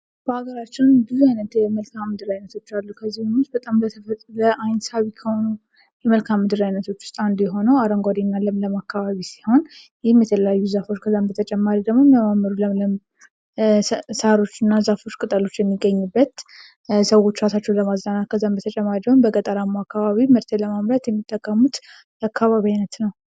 በሀገራችን ብዙ አይነት የመልክዓ ምድር አይነቶች አሉ ከእነዚህ ውስጥ በጣም ለአይን ሳቢ ከሆነው የመልክዓ ምድር አይነቶች ውስጥ አንዱ የሆነው አረንጓዴና ለምለም አከባቢ ሲሆን ይህም የተለያዩ ዛፎች ከዛም በተጨማሪ ደግሞ ዛፎች የተለያዩ ቅጠሎች የሚገኙበት ሰዎች እራሳቸውን ለማዝናናት ከዛም በተጨማሪ ደግሞ በገጠሩ አካባቢ ምርትን ለማምረት የሚጠቀሙበት የአከባቢ አይነት ነው።